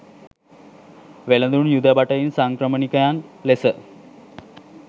වෙළෙඳුන්, යුද භටයින්, සංක්‍රමණිකයන් ලෙස